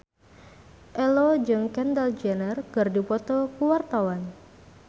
Ello jeung Kendall Jenner keur dipoto ku wartawan